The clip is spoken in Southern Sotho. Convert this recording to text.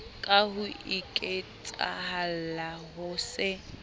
ka ho iketsahalla ho se